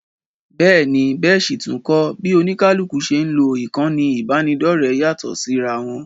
Bẹ́ẹ̀ ni, bẹ́ẹ̀ sì tún kọ́, bí oníkálukú ṣe ń lo ìkànnì ìbánidọ́ọ̀rẹ́ yàtọ̀ síra wọn